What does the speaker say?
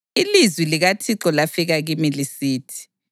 Ilizwi likaThixo lafika kimi lisithi: